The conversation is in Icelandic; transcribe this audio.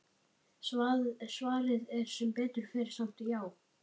Svarið er sem betur fer samt já!